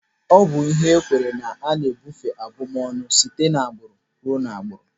Ọ bụ ihe ekweere na ana ebeufu abụmọnụ site n'agbụrụ ruo n'agbụrụ.